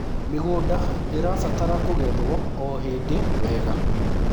mĩgũnda irabatara kugethwo o hĩndĩ wega